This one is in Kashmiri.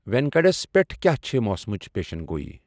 ویٖکٮ۪نڑَس پٮ۪ٹھ کیٛاہ چھِ موسمٕچ پیشن گوٮٔی۔